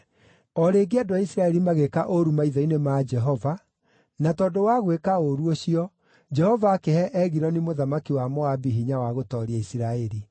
O rĩngĩ andũ a Isiraeli magĩĩka ũũru maitho-inĩ ma Jehova, na tondũ wa gwĩka ũũru ũcio Jehova akĩhe Egiloni mũthamaki wa Moabi hinya wa gũtooria Isiraeli.